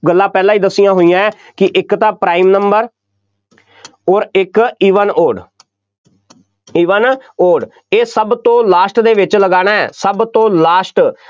ਗੱਲਾਂ ਪਹਿਲਾਂ ਹੀ ਦੱਸੀਆਂ ਹੋਈਆਂ ਕਿ ਇੱਕ ਤਾਂ prime number ਅੋਰ ਇੱਕ even odd even odd ਇਹ ਸਭ ਤੋਂ last ਦੇ ਵਿੱਚ ਲਗਾਉਣਾ, ਸਭ ਤੋਂ last